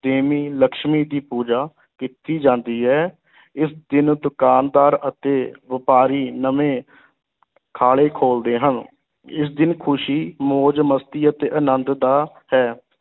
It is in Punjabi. ਦੇਵੀ ਲਕਸ਼ਮੀ ਦੀ ਪੂਜਾ ਕੀਤੀ ਜਾਂਦੀ ਹੈ, ਇਸ ਦਿਨ ਦੁਕਾਨਦਾਰ ਅਤੇ ਵਪਾਰੀ ਨਵੇਂ ਖਾਲੇ ਖੋਲ੍ਹਦੇ ਹਨ, ਇਸ ਦਿਨ ਖੁਸ਼ੀ, ਮੌਜ-ਮਸਤੀ ਅਤੇ ਅਨੰਦ ਦਾ ਹੈ।